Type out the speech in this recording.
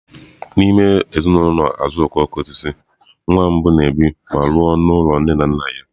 N'ime ezinụlọ azuokokoosisi, nwa mbụ na-ebi ma lụọ n'ụlọ nne na nna ya.